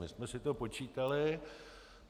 My jsme si to počítali.